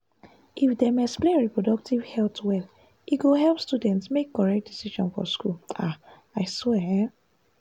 if dem explain reproductive health well e go help students make correct decision for school ah i swear um